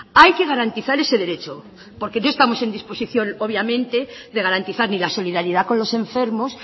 hay que garantizar ese derecho porque no estamos en disposición obviamente de garantizar ni la solidaridad con los enfermos